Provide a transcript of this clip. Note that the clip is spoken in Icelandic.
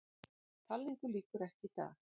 Talningu lýkur ekki í dag